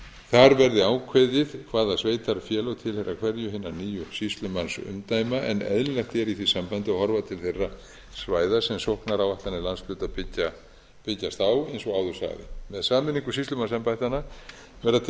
þar verði ákveðið hvaða sveitarfélög tilheyra hverju hinna nýju sýslumannsumdæma en eðlilegt er í því sambandi að horfa til þeirra svæða sem sóknaráætlanir landshluta byggjast á eins og áður sagði með sameiningu sýslumannsembættanna verða til